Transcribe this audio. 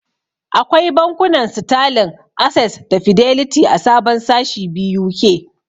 Akwai bankunan Sitalin, Ases da Fideliti a sabon sashi BUK.